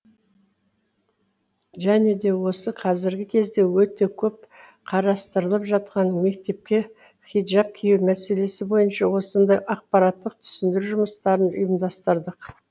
және де осы қазіргі кезде өте көп қарастырылып жатқан мектепке хиджаб кию мәселесі бойынша осындай ақпараттық түсіндіру жұмыстарын ұйымдастырдық